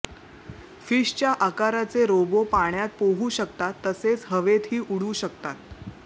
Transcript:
फिशच्या आकाराचे रोबो पाण्यात पोहू शकतात तसेच हवेतही उडू शकतात